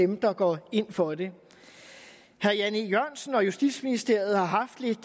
dem der går ind for det herre jan e jørgensen og justitsministeriet har haft lidt